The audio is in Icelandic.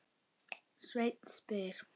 Sveinn spyr